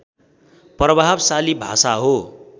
प्रभावशाली भाषा हो